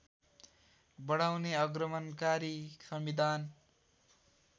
बढाउने अग्रगमनकारी संविधान